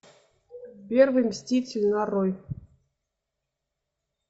первый мститель нарой